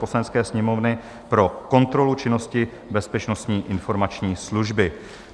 Poslanecké sněmovny pro kontrolu činnosti Bezpečnostní informační služby